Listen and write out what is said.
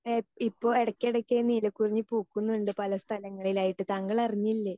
Speaker 2 ഇപ്പോ ഇടയ്ക്കിടയ്ക്ക് നീലക്കുറിഞ്ഞി പൂക്കുന്നുണ്ട് പല സ്ഥലങ്ങളിലായിട്ട് താങ്കൾ അറിഞ്ഞില്ലേ?